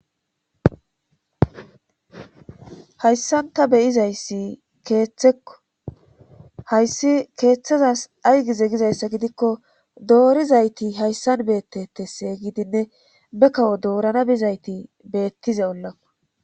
hayssan ta beyizayssi keeththekko hayssi keeththezas aygize gizayssa gidikko doorizayti hayssan beettettese gidinne be kawo doorana bizayti beettize ollaa